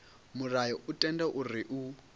mulayo u tendela uri u